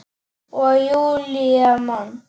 Og Júlía man.